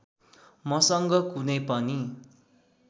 मसँग कुनै पनि